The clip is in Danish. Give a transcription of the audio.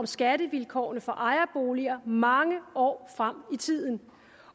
skattevilkårene for ejerboliger mange år frem i tiden